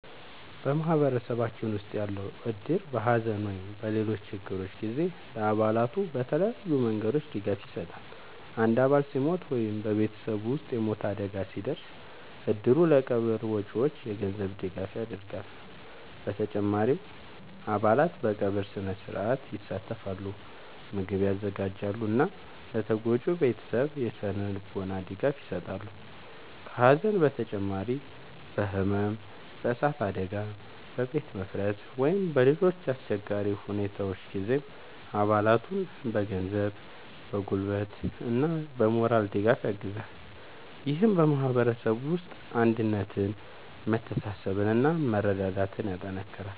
በማህበረሰባችን ውስጥ ያለው እድር በሐዘን ወይም በሌሎች ችግሮች ጊዜ ለአባላቱ በተለያዩ መንገዶች ድጋፍ ይሰጣል። አንድ አባል ሲሞት ወይም በቤተሰቡ ውስጥ የሞት አደጋ ሲደርስ፣ እድሩ ለቀብር ወጪዎች የገንዘብ ድጋፍ ያደርጋል። በተጨማሪም አባላት በቀብር ሥነ-ሥርዓት ይሳተፋሉ፣ ምግብ ያዘጋጃሉ እና ለተጎጂው ቤተሰብ የሥነ-ልቦና ድጋፍ ይሰጣሉ። ከሐዘን በተጨማሪ በሕመም፣ በእሳት አደጋ፣ በቤት መፍረስ ወይም በሌሎች አስቸጋሪ ሁኔታዎች ጊዜም አባላቱን በገንዘብ፣ በጉልበት እና በሞራል ድጋፍ ያግዛል። ይህም በማህበረሰቡ ውስጥ አንድነትን፣ መተሳሰብን እና መረዳዳትን ያጠናክራል።